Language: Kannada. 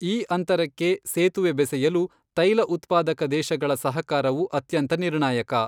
ಈ ಅಂತರಕ್ಕೆ ಸೇತುವೆ ಬೆಸೆಯಲು ತೈಲಉತ್ಪಾದಕ ದೇಶಗಳ ಸಹಕಾರವು ಅತ್ಯಂತ ನಿರ್ಣಾಯಕ.